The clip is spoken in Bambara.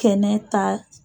Kɛnɛ ta